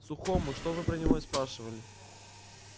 сухому что вы про него и спрашивали